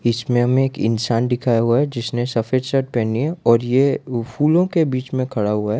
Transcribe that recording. इसमें हमें एक इंसान दिखाया हुआ है जिसने सफेद शर्ट पहनी है और ये फूलों के बीच में खड़ा हुआ है।